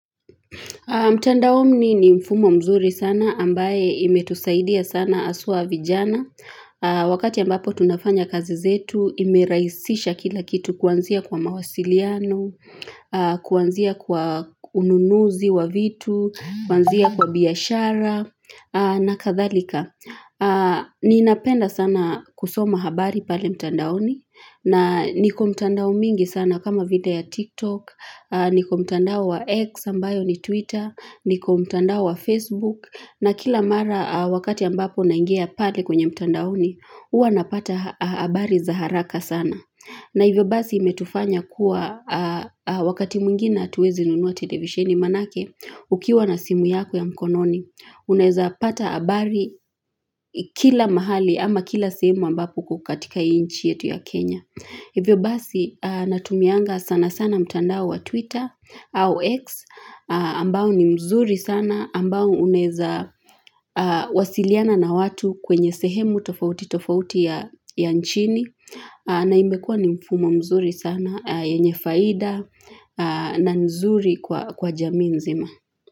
Mtandaoni ni mfumo mzuri sana ambaye imetusaidia sana haswa vijana Wakati ambapo tunafanya kazi zetu imeraisisha kila kitu kuanzia kwa mawasiliano Kuanzia kwa ununuzi wa vitu, kuanzia kwa biashara na kathalika ni napenda sana kusoma habari pale mtandaoni na ni komtandao mingi sana kama vile ya TikTok niko mtandao wa X ambayo ni Twitter niko mtandao wa Facebook na kila mara wakati ambapo naingia pale kwenye mtandaoni huwa napata habari za haraka sana na hivyo basi imetufanya kuwa Wakati mwingine hatuwezi nunua televisheni manake Ukiwa na simu yako ya mkononi Unaeza pata habari kila mahali ama kila sehemu ambapo ukokatika hiiinchi yetu ya Kenya Hivyo basi natumianga sana sana mtandao wa Twitter au X ambao ni mzuri sana ambao uneza wasiliana na watu kwenye sehemu tofauti tofauti ya nchini na imekua ni mfumo mzuri sana yenye faida na nzuri kwa jamiinzima.